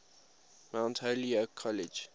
mount holyoke college